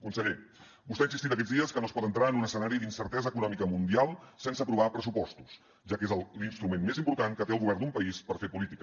conseller vostè ha insistit aquests dies que no es pot entrar en un escenari d’incertesa econòmica mundial sense aprovar pressupostos ja que és l’instrument més important que té el govern d’un país per fer política